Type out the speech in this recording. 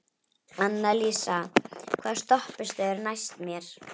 Annalísa, hvaða stoppistöð er næst mér?